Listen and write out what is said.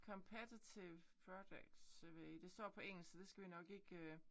Competititve projects jeg ved det står på engelsk så det skal vi nok ikke